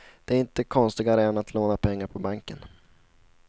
Det är inte konstigare än att låna pengar på banken.